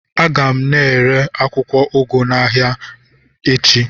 A ga m ere akwụkwọ ụgụ ahụ n'ahịa echi